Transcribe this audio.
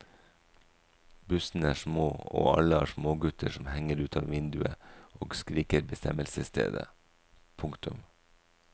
Bussene er små og alle har smågutter som henger ut av vinduet og skriker bestemmelsesstedet. punktum